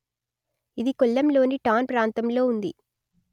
ఇది కొల్లంలోని టౌన్ ప్రాంతంలో ఉంది